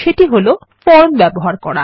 এবং সেটি হল ফর্ম ব্যবহার করা